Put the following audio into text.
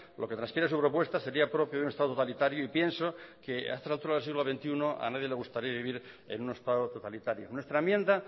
lo que trasciende de su propuesta sería propio de un estado totalitario y pienso que a estas alturas del siglo veintiuno a nadie le gustaría vivir en un estado totalitario nuestra enmienda